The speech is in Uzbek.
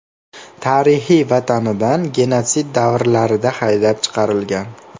Tarixiy vatanidan genotsid davrlarida haydab chiqarilgan.